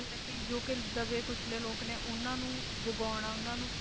ਮਤਲਬ ਕਿ ਜੋ ਕਿ ਦੱਬੇ ਕੁੱਚਲੇ ਲੋਕ ਨੇ ਉਹਨਾਂ ਨੂੰ ਜਗਾਉਣਾ, ਉਹਨਾਂ ਨੂੰ